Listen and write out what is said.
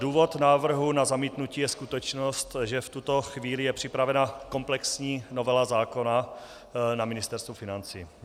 Důvod návrhu na zamítnutí je skutečnost, že v tuto chvíli je připravena komplexní novela zákona na Ministerstvu financí.